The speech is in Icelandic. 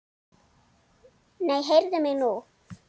Nei, heyrðu mig nú!